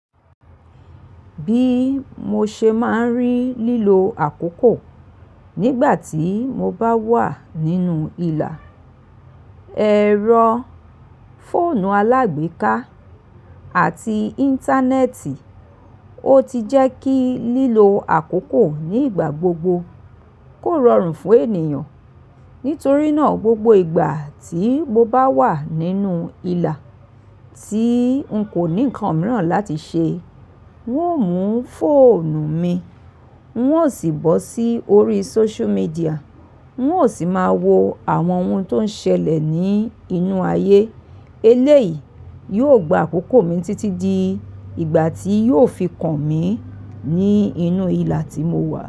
Bí mo ṣe máa ń rí lílo àkókò nígbà tí mo bá wà nínú ìlà, ẹ̀rọ fóònù alágbèéká àti íńtánẹ́ẹ̀tì, ó ti jẹ́ kí lílo àkókò ní ìgbà gbogbo kó rọrùn fún ènìyàn. Nítorí náà gbogbo ìgbà tí mo bá wà nínú ìlà tí ń kò ní nǹkan mìíràn láti ṣe, n ó mú fóònù mi, n ó sì bọ́ sí orí social media, n ó sì máa wo àwọn ohun tó ń ṣẹlẹ̀ ní inú ayé. Eléyìí yóò gba àkókò mi títí di ìgbà tí yóò fi kàn mí ní inú ìlà tí mo wà.